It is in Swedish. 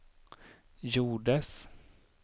gjordes